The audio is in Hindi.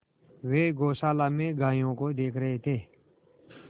वे गौशाला में गायों को देख रहे थे